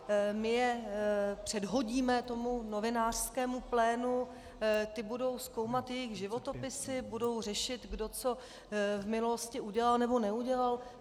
My je předhodíme tomu novinářského plénu, ti budou zkoumat jejich životopisy, budou řešit, kdo co v minulosti udělal, nebo neudělal.